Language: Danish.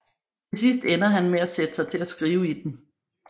Til sidst ender han med at sætte sig til at skrive i den